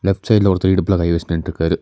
Left சைட்ல ஒருத்தர் இடுப்புல கை வஷ் நின்ட்ருக்காரு.